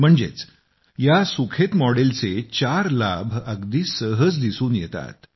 म्हणजेच या सुखेत मॉडेल चे चार लाभ अगदी सहज दिसून येतात